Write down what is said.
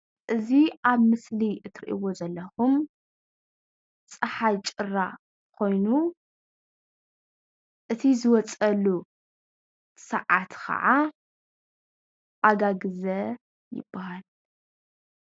እዚ ኣብ ምስሊ እትርእዎ ዘለኩም ፀሓይ ጭራ ኮይኑ እቲ ዝወፀሉ ሰዓት ከዓ ኣጋግዘ ይባሃል፡፡